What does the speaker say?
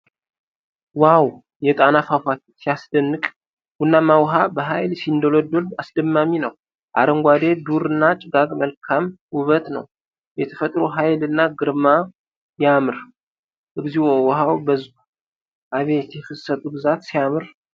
ዋው! የጣና ፏፏቴ ሲያስደንቅ! ቡናማ ውሃ በኃይል ሲንዶለዶል አስደማሚ ነው። አረንጓዴ ዱር እና ጭጋግ መልካም ውበት ነው። የተፈጥሮ ኃይል እና ግርማ ያምር። እግዚኦ ውሃው በዝቷል! አቤት የፍሰቱ ብዛት! ሲያምር!